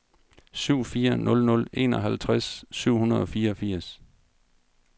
syv fire nul nul enoghalvtreds syv hundrede og fireogfirs